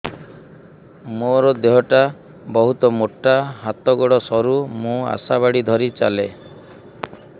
ମୋର ଦେହ ଟା ବହୁତ ମୋଟା ହାତ ଗୋଡ଼ ସରୁ ମୁ ଆଶା ବାଡ଼ି ଧରି ଚାଲେ